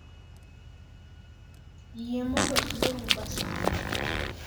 Yie mondo ior uber sani